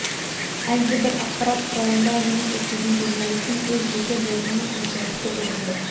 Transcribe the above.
әлдебір ақпарат құралында жұмыс істейтін журналистің өз жеке болғаны қаншалықты орынды